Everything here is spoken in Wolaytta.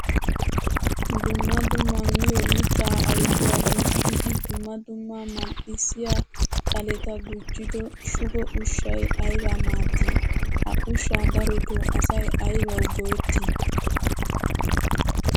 Dumma dumma miyo mitta ayfiya gumi'iddi dumma dumma mali'issiya xaletta gujjiddo shugo ushshay aybaa maadii? Ha ushsha darotto asay aybbawu go'etti?